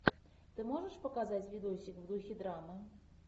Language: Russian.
ты можешь показать видосик в духе драмы